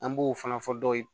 An b'o fana fɔ dɔw ye